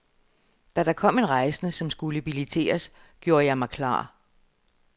Da der kom en rejsende, som skulle billetteres, gjorde jeg mig klar.